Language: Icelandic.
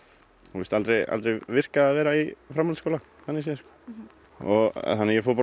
fannst aldrei virka að vera í framhaldsskóla þannig séð fór á